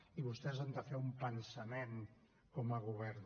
i vostès han de fer un pensament com a govern